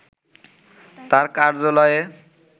তার কার্যালয়ে